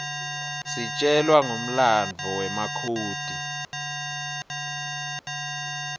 sitjelwa nqifmlanduo wemakhodi